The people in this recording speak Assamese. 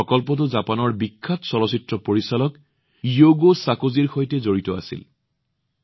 এই প্ৰকল্পটো জাপানৰ অতি বিখ্যাত চলচ্চিত্ৰ পৰিচালক য়ুগো চাকো জীৰ সৈতে জড়িত আছিল